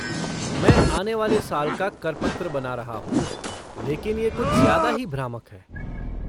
मैं आने वाले साल का कर पत्र बना रहा हूँ लेकिन ये कुछ ज़्यादा ही भ्रामक है।